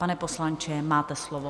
Pane poslanče, máte slovo.